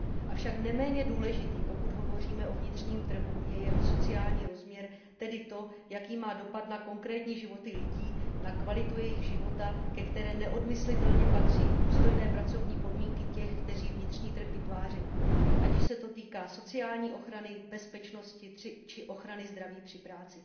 Avšak neméně důležitý, pokud hovoříme o vnitřním trhu, je jeho sociální rozměr, tedy to, jaký má dopad na konkrétní životy lidí, na kvalitu jejich života, ke které neodmyslitelně patří i důstojné pracovní podmínky těch, kteří vnitřní trh vytvářejí. Ať již se to týká sociální ochrany, bezpečnosti či ochrany zdraví při práci.